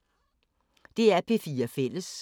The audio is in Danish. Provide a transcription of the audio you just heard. DR P4 Fælles